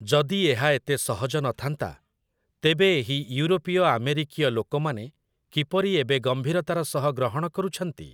ଯଦି ଏହା ଏତେ ସହଜ ନଥାନ୍ତା, ତେବେ ଏହି ୟୁରୋପୀୟ ଆମେରୀକୀୟ ଲୋକମାନେ କିପରି ଏବେ ଗମ୍ଭୀରତାର ସହ ଗ୍ରହଣ କରୁଛନ୍ତି?